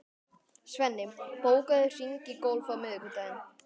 Svenni, bókaðu hring í golf á miðvikudaginn.